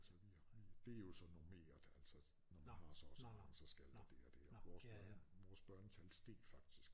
Altså vi det er jo så normeret altså når man har så og så så skal der det og det og vores børn vores børnetal steg faktisk